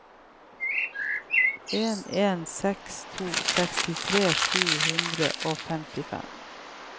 en en seks to sekstitre sju hundre og femtifem